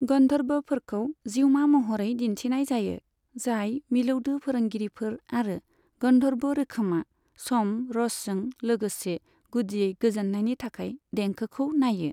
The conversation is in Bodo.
गन्धर्बफोरखौ जिउमा महरै दिन्थनाय जायो, जाय मिलौदो फोरोंगिरिफोर, आरो गन्धर्ब रोखोमा स'म रसजों लोगोसे गुदियै गोजोननायनि थाखाय देंखोखौ नायो।